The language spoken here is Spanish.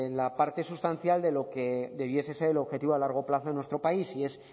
la parte sustancial de lo que debiese ser el objetivo a largo plazo en nuestro país y es